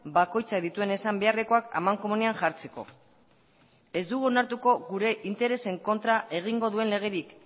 bakoitzak dituen esan beharrekoak amankomunean jartzeko ez dugu onartuko gure interesen kontra egingo duen legerik